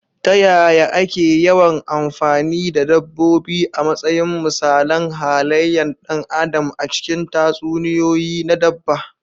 Ta yaya ake yawan amfani da dabbobi a matsayin misalan halayen ɗan adam a cikin tatsuniyoyi na dabba?